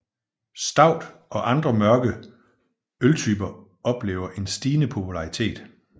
Stout og andre mørke øltyper oplever en stigende popularitet